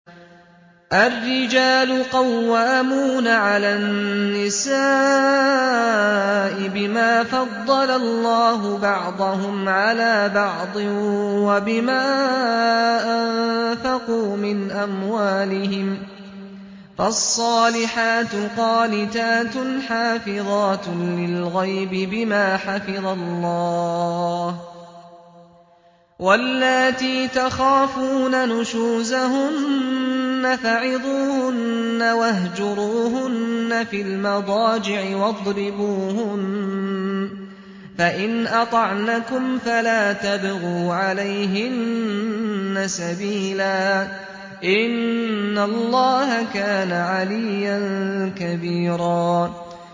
الرِّجَالُ قَوَّامُونَ عَلَى النِّسَاءِ بِمَا فَضَّلَ اللَّهُ بَعْضَهُمْ عَلَىٰ بَعْضٍ وَبِمَا أَنفَقُوا مِنْ أَمْوَالِهِمْ ۚ فَالصَّالِحَاتُ قَانِتَاتٌ حَافِظَاتٌ لِّلْغَيْبِ بِمَا حَفِظَ اللَّهُ ۚ وَاللَّاتِي تَخَافُونَ نُشُوزَهُنَّ فَعِظُوهُنَّ وَاهْجُرُوهُنَّ فِي الْمَضَاجِعِ وَاضْرِبُوهُنَّ ۖ فَإِنْ أَطَعْنَكُمْ فَلَا تَبْغُوا عَلَيْهِنَّ سَبِيلًا ۗ إِنَّ اللَّهَ كَانَ عَلِيًّا كَبِيرًا